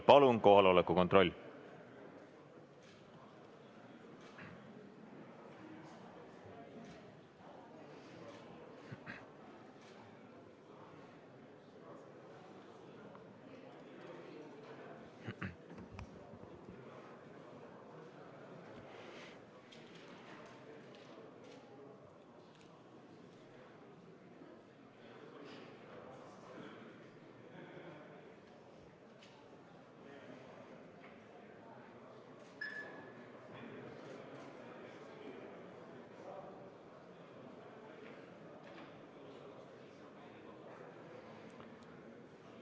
Palun kohaloleku kontroll!